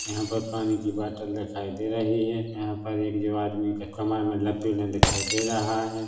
यहाँ पर पानी की बोतल दिखाई दे रही है यहाँ पर एक जो आदमी के कमर मे दिखाई दे रहा है।